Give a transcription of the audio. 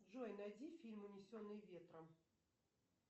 джой найди фильм унесенные ветром